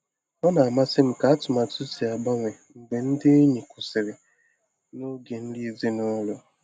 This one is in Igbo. Ọ na-amasị m ka atụmatụ si agbanwe mgbe ndị enyi kwụsịrị n'oge nri ezinụlọ.